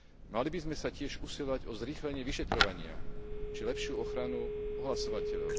Mali by sme sa tiež usilovať o zrýchlenie vyšetrovania či lepšiu ochranu ohlasovateľov.